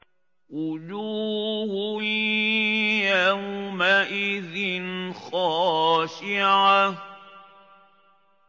وُجُوهٌ يَوْمَئِذٍ خَاشِعَةٌ